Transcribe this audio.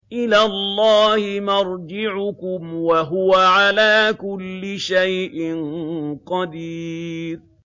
إِلَى اللَّهِ مَرْجِعُكُمْ ۖ وَهُوَ عَلَىٰ كُلِّ شَيْءٍ قَدِيرٌ